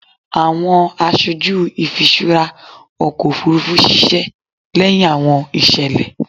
Awọn aṣoju ifiṣura ọkọ ofurufu ṣiṣẹ lẹhin awọn iṣẹlẹ